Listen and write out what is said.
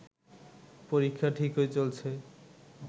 পরীক্ষা ঠিকই চলছে